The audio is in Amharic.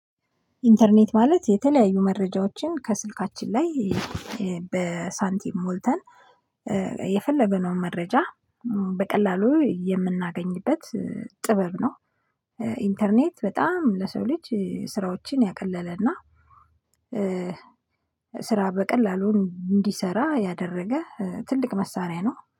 ኢንተርኔት ማለት የተለያዩ መረጃዎችን ከስልካችን ላይ በሳንቲም ሞልተን የፈለግነውን መረጃ በቀላሉ የምናገኝበት ጥበብ ነው። ኢንተርኔት በጣም ለሰው ልጅ ስራዎችን ያቀለለና ስራ በቀላሉ እንዲሰራ ያደረገ ትልቅ መሳሪያ ነው